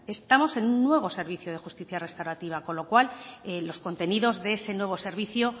estamos en nuevo servicio de justicia restaurativa con lo cual los contenidos de ese nuevo servicio